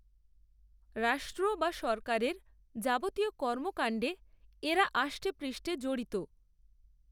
রাষ্ট্র বা সরকারের যাবতীয় কর্মকাণ্ডে এঁরা আষ্টেপৃষ্ঠে জড়িত